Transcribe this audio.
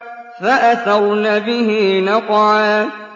فَأَثَرْنَ بِهِ نَقْعًا